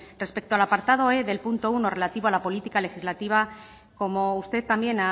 respecto al apartado e del punto uno relativa a la política legislativa como usted también